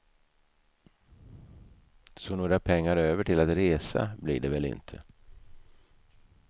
Så några pengar över till att resa blir det väl inte.